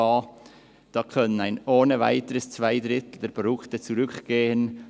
Da könnten ohne weiteres zwei Drittel der Produkte zurückgehen.